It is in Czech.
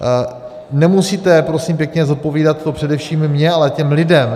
Nemusíte, prosím pěkně, zodpovídat to především mně, ale těm lidem.